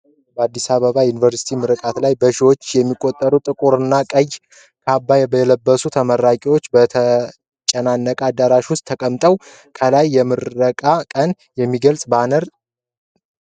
በአዲስ አበባ ዩኒቨርሲቲ ምረቃ ላይ፣ በሺዎች የሚቆጠሩ ጥቁርና ቀይ ካባ የለበሱ ተመራቂዎች በተጨናነቀ አዳራሽ ውስጥ ተቀምጠዋል። ከላይ የምረቃውን ቀን የሚገልጽ ባነር ተሰቅሏል።